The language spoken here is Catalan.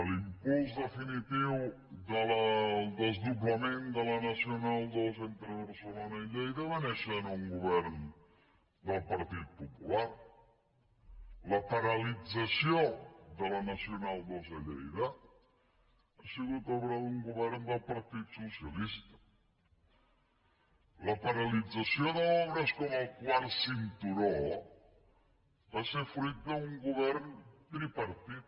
l’impuls definitiu del desdoblament de la nacional ii entre barcelona i lleida va néixer en un govern del partit popular la paralització de la nacional ii a lleida ha sigut obra d’un govern del partit socialista la paralització d’obres com el quart cinturó va ser fruit d’un govern tripartit